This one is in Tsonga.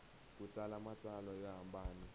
ku tsala matsalwa yo hambana